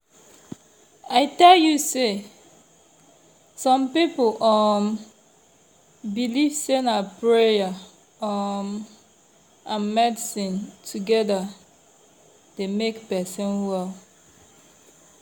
i tell you! some people um believe say na prayer um and medicine together dey make person well.